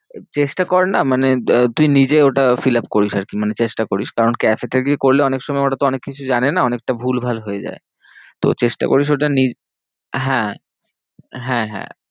চেষ্টা কর না মানে তুই নিজে ওটা fill up করিস আর কি মানে চেষ্টা করিস। কারণ cafe গিয়ে করলে অনেক সময় ওরা তো অনেক কিছু জানে না অনেকটা ভুল ভাল হয়ে যায়। তো চেষ্টা করিস ওটা নিজ হ্যাঁ হ্যাঁ হ্যাঁ